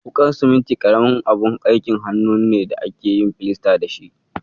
Wuƙar siminti ƙaramin abun aikin hannu ne da ake yin filasta da shi.